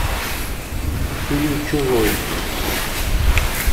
фильм чужой